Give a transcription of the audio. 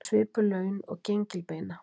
Með svipuð laun og gengilbeina